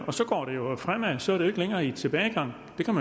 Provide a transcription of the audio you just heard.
og så går det jo fremad så er det ikke længere i tilbagegang det kan